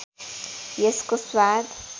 यसको स्वाद